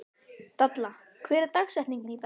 Dalla, hver er dagsetningin í dag?